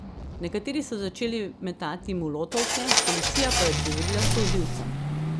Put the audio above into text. Nekateri so začeli metati molotovke, policija pa je odgovorila s solzivcem.